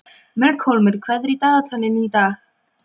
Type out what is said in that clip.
Melkólmur, hvað er í dagatalinu í dag?